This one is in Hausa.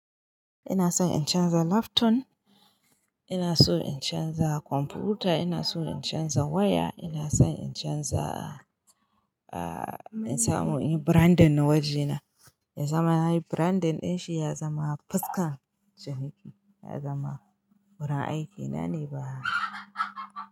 Ina son in canza laptop, ina so in canza kwamfuta, ina so in canza waya, ina son in canza, aa in samu in yi branding na wajena. Ya zama nayi branding ɗinshi ya zama fuska janiki, ya zama wurin aiki. Na ne ba.